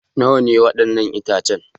Nawa ne waɗannan itacen?